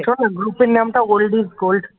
শোন না group র নামটাও বলে দিস gold